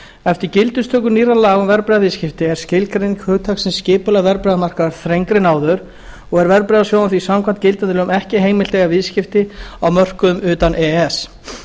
eftir gildistöku nýrra laga um verðbréfaviðskipti er skilgreining hugtaksins skipulegur verðbréfamarkaður þrengri en áður og er verðbréfasjóðum því samkvæmt gildandi lögum ekki heimilt að eiga viðskipti á mörkuðum utan e e s